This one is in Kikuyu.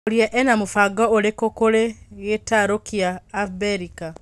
Mworia ena mũbango ũrĩkũkũrĩ gĩtarũkia Abirika?